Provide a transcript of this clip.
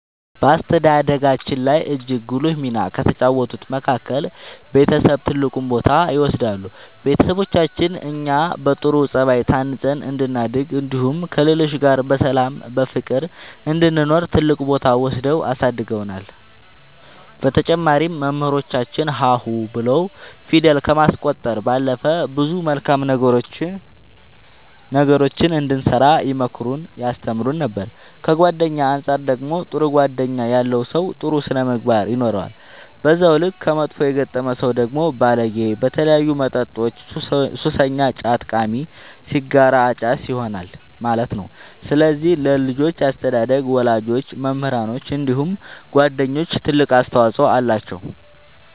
በአስተዳደጋችን ላይ እጅግ ጉልህ ሚና ከተጫወቱት መካከል ቤተሰብ ትልቁን ቦታ ይወስዳሉ ቤተሰቦቻችን እኛ በጥሩ ጸባይ ታንጸን እንድናድግ እንዲሁም ከሌሎች ጋር በሰላም በፍቅር እንድንኖር ትልቅ ቦታ ወስደው አሳድገውናል በተጨማሪም መምህራኖቻችን ሀ ሁ ብለው ፊደል ከማስቆጠር ባለፈ ብዙ መልካም ነገሮችን እንድንሰራ ይመክሩን ያስተምሩን ነበር ከጓደኛ አንፃር ደግሞ ጥሩ ጓደኛ ያለው ሰው ጥሩ ስነ ምግባር ይኖረዋል በዛው ልክ ከመጥፎ የገጠመ ሰው ደግሞ ባለጌ በተለያዩ መጠጦች ሱሰኛ ጫት ቃሚ ሲጋራ አጫሽ ይሆናል ማለት ነው ስለዚህ ለልጆች አስተዳደግ ወላጆች መምህራኖች እንዲሁም ጓደኞች ትልቅ አስተዋፅኦ አላቸው።